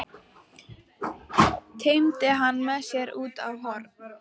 Teymdi hana með sér út á horn.